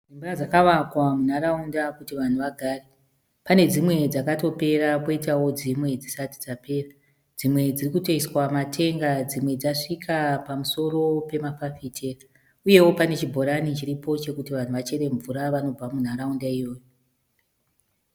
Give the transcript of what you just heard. Dzimba dzakavakwa munharaunda kuti vanhu vagare. Pane dzimwe dzatopera poitawo dzimwe dzisati dzapera. Dzimwe dzirikutoiswa matenga dzimwe dzasvika pamusoro pepamafafitera. Uyewo pane chibhorani chiripo chekuti vanhu vachere mvura vanobva munharaunda iyo.